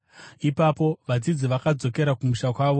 Ipapo vadzidzi vakadzokera kumusha kwavo,